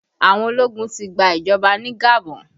Àwọn ológun ti gba ìjọba ní Gabon